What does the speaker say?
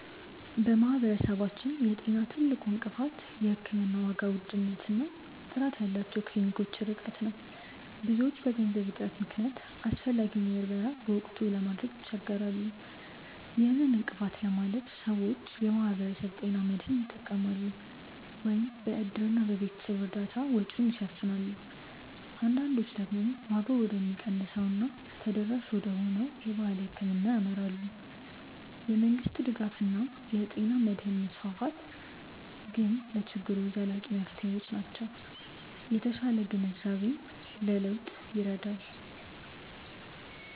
በማህበረሰባችን የጤና ትልቁ እንቅፋት የሕክምና ዋጋ ውድነት እና ጥራት ያላቸው ክሊኒኮች ርቀት ነው። ብዙዎች በገንዘብ እጥረት ምክንያት አስፈላጊውን ምርመራ በወቅቱ ለማድረግ ይቸገራሉ። ይህን እንቅፋት ለማለፍ ሰዎች የማህበረሰብ ጤና መድህን ይጠቀማሉ፤ ወይም በእድርና በቤተሰብ እርዳታ ወጪውን ይሸፍናሉ። አንዳንዶች ደግሞ ዋጋው ወደሚቀንሰው እና ተደራሽ ወደሆነው የባህል ሕክምና ያመራሉ። የመንግስት ድጋፍ እና የጤና መድህን መስፋፋት ግን ለችግሩ ዘላቂ መፍትሄዎች ናቸው። የተሻለ ግንዛቤም ለለውጥ ይረዳል።